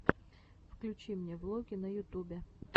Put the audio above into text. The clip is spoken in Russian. включи мне влоги на ютубе